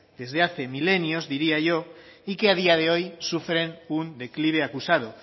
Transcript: desde hace milenios diría yo y que a día de hoy sufren un declive acusado